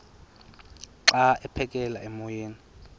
xa aphekela emoyeni